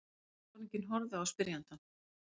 Sjóliðsforinginn horfði á spyrjandann.